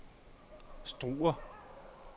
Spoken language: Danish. Struer